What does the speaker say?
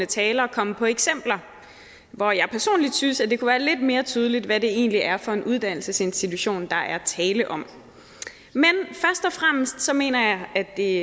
talere komme på eksempler hvor jeg personlig synes at det kunne være lidt mere tydeligt hvad det egentlig er for en uddannelsesinstitution der er tale om og fremmest så mener jeg at det